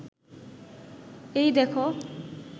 এই দেখো